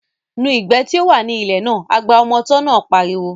Nu ìgbẹ́ tí ó wà ní ilẹ̀ náà, agba ọmọ tọ́ náà pariwo